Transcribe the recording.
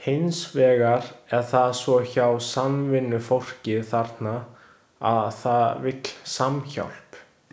Hins vegar er það svo hjá samvinnufólki þarna, að það vill samhjálp.